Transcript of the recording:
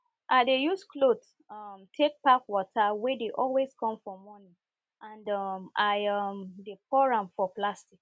i dey use cloth um take pack water wey dey always come for morning and um i um dey pour am for plastic